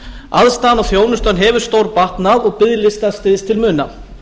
aðstaðan og þjónustan hefur stórbatnað og biðlistar styst til muna